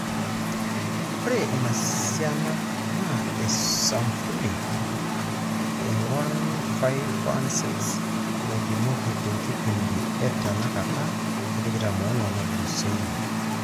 Ore ina siana naa esampuli 1,516 naipimoki tenkipindi e tenakata 24 natulusoitie.